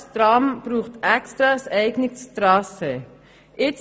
das Tram benötigt extra ein eigenes Trassee.